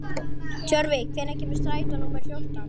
Tjörvi, hvenær kemur strætó númer fjórtán?